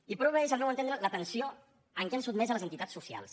i prova és al meu entendre la tensió a què han sotmès les entitats socials